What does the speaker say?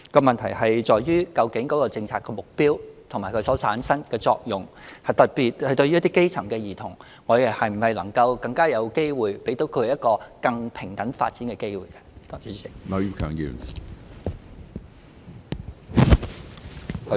問題在於究竟政策的目標，以及所產生的作用，特別是對於基層兒童，能否給他們一個更平等發展的機會。